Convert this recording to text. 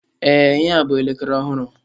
Ee, ihea bụ elekere ọhụrụ.